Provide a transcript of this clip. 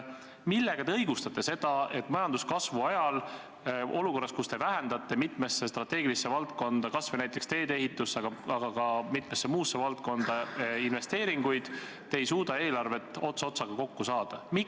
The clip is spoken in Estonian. Millega te õigustate seda, et majanduskasvu ajal olukorras, kus te vähendate investeeringuid mitmesse strateegilisse valdkonda, kas või näiteks teedeehitusse, aga ka mitmesse muusse valdkonda, te ei suuda eelarvet ots otsaga kokku saada?